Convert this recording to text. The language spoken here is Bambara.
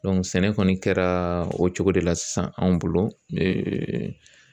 sɛnɛ kɔni kɛra o cogo de la sisan anw bolo